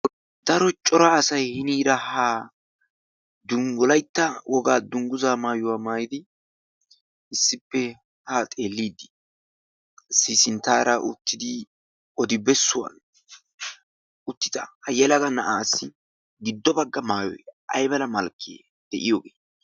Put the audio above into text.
daro cora asai hiniira ha dunggulaitta wogaa dunggusa maayuwaa maayidi Issippe haa xeelliiddi siisinttaara uttidi odi bessuwan uttida ha yelaga na'aasi giddo bagga maayoi aibala malkkee de'iyogee?